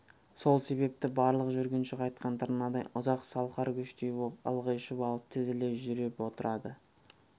сол себепті барлық жүргінші қайтқан тырнадай ұзақ салқар көштей боп ылғи шұбалып тізіле жүріп отырады